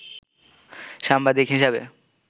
সাংবাদিক হিসেবে